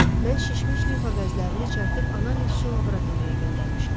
Mən şişmiş limfa vəzlərini çərtib analiz üçün laboratoriyaya göndərmişəm.